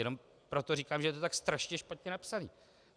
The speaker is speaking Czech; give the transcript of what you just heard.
Jenom proto říkám, že je to tak strašně špatně napsané.